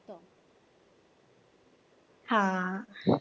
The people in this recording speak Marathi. हा.